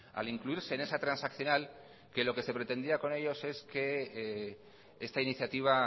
al incluirse en esa transaccional que lo que se pretendía con ellos es que esta iniciativa